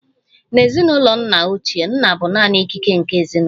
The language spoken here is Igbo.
N'ezinụlọ nna ochie, nna bụ naanị ikike nke ezinụlọ